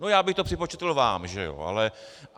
No já bych to připočetl vám, že jo.